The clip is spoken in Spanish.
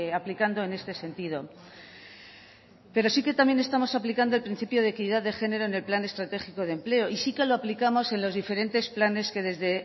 aplicando en este sentido pero sí que también estamos aplicando el principio de equidad de género en el plan estratégico de empleo y sí que lo aplicamos en los diferentes planes que desde